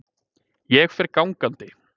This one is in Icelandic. Ég fer gangandi.